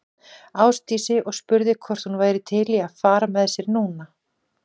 Ásdísi og spurði hvort hún væri til í að fara með sér núna.